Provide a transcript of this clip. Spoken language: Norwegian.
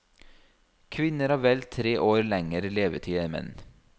Kvinner har vel tre år lenger levetid enn menn.